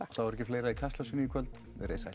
þá er ekki fleira í Kastljósinu í kvöld verið þið sæl